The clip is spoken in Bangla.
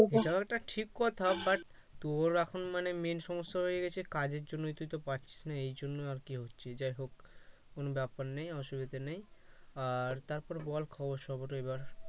এটাও একটা ঠিক কথা but তোর এখন মানে main সমস্যা হয়ে গেছে কাজের জন্য তুই তো পারছিস না এজন্য আর কি হচ্ছে যাহোক কোন ব্যাপার নেই অসুবিধা নেই আর তারপর বল খবর সবর এবার